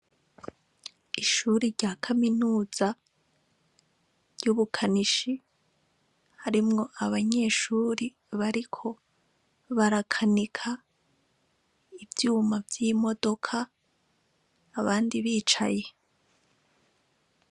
Ishure rya kaminuza ry'ubukanishi harimwo abanyeshure bariko barakanika ivyuma vy'imodoka abandi bicaye.